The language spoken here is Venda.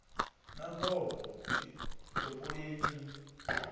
na mbofho i topoleni ni